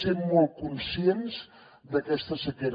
sent molt conscients d’aquesta sequera